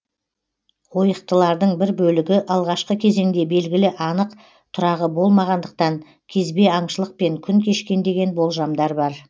ойықтылардың бір бөлігі алғашқы кезеңде белгілі анық тұрағы болмағандықтан кезбе аңшылықпен күн кешкен деген болжамдар бар